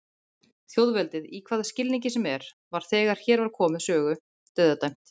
Þjóðveldið, í hvaða skilningi sem er, var þegar hér var komið sögu dauðadæmt.